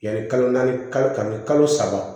Yanni kalo naani kalo ani kalo saba